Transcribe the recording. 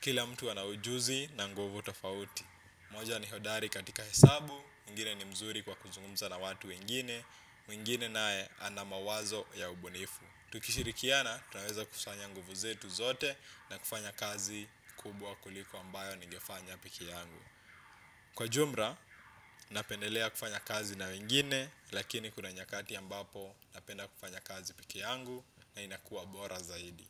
Kila mtu anaujuzi na nguvu tofauti. Mmoja ni hodari katika hesabu, mwingine ni mzuri kwa kuzungumza na watu wengine, mwingine naye ana mawazo ya ubunifu. Tukishirikiana, tunaweza kufanya nguvu zetu zote na kufanya kazi kubwa kuliko ambayo nigefanya peke yangu. Kwa jumla, napendelea kufanya kazi na wengine, lakini kuna nyakati ambapo napenda kufanya kazi pekee yangu na inakuwa bora zaidi.